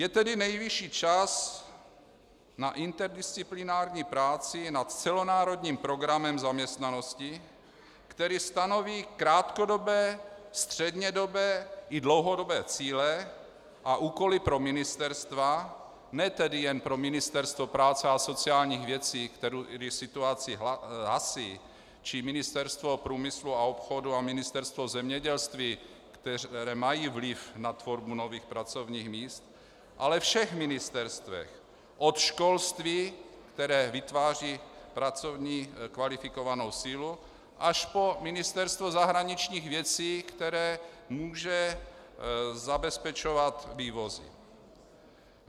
Je tedy nejvyšší čas na interdisciplinární práci nad celonárodním programem zaměstnanosti, který stanoví krátkodobé, střednědobé i dlouhodobé cíle a úkoly pro ministerstva, ne tedy jen pro Ministerstvo práce a sociálních věcí, které situaci hasí, či Ministerstvo průmyslu a obchodu a Ministerstvo zemědělství, která mají vliv na tvorbu nových pracovních míst, ale všech ministerstev, od školství, které vytváří pracovní kvalifikovanou sílu, až po Ministerstvo zahraničních věcí, které může zabezpečovat vývozy.